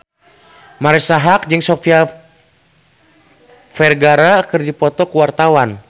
Marisa Haque jeung Sofia Vergara keur dipoto ku wartawan